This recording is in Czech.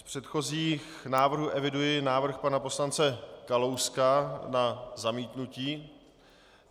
Z předchozích návrhů eviduji návrh pana poslance Kalouska na zamítnutí.